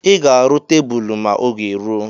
I ga-aru tebulu ma oge rụọ